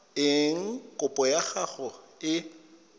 eng kopo ya gago e